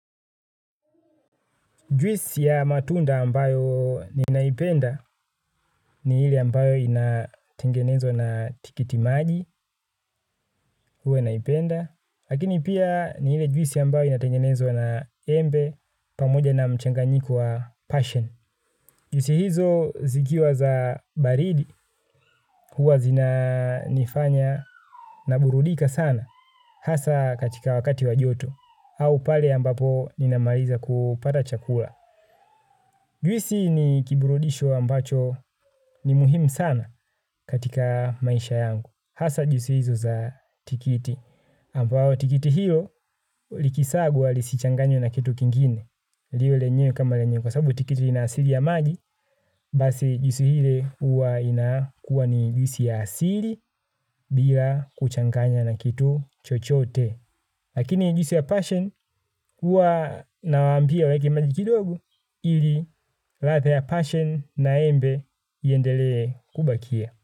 Juisi ya matunda ambayo ninaipenda ni ile ambayo inatengenezwa na tikiti maji huwa naipenda lakini pia ni ile juisi ambayo inatengenezwa na embe pamoja na mchanganyiko wa passion. Juisi hizo zikiwa za baridi huwa zinanifanya naburudika sana hasaa katika wakati wa joto au pale ambapo ninamaliza kupata chakula. Juisi ni kiburudisho ambacho ni muhimu sana katika maisha yangu. Hasa juisi hizo za tikiti. Ambao tikiti hilo likisagwa lisichanganywe na kitu kingine. Liwe lenyewe kama lenye kwa sababu tikiti lina asili ya maji. Basi juisi ile huwa inakuwa ni juisi ya asili bila kuchanganya na kitu chochote. Lakini juisi ya passion huwa nawaambia waeke maji kidogo. Ili ladha ya passion na embe iendelee kubakia.